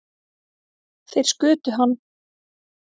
Þeir skutu hann